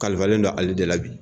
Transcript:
Kalifalen dɔ ali dɛ la bi